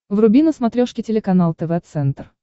вруби на смотрешке телеканал тв центр